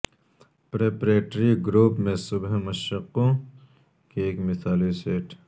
preparatory group میں صبح مشقوں کے ایک مثالی سیٹ